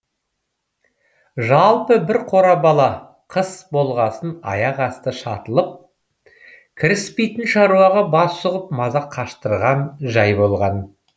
жалпы бір қора бала қыс болғасын аяқ асты шатылып кіріспейтін шаруаға бас сұғып маза қаштырған жай болған